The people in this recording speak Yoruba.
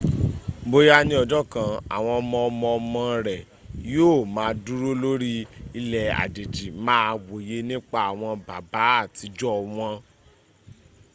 bóyá ní ọjọ́ kan àwọn ọmọ ọmọ ọmọ rẹ yí ò ma dúró lórí ilẹ̀ àjèjì máa wòye nípa àwọn baba àtijọ wọn